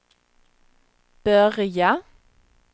börja